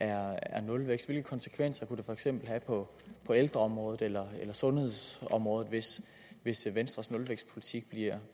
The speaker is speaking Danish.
er nulvækst hvilke konsekvenser kunne det for eksempel have på på ældreområdet eller sundhedsområdet hvis hvis venstres nulvækstpolitik